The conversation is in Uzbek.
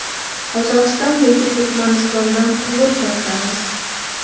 Qozog‘iston yoki Turkmanistondan quvur tortamiz.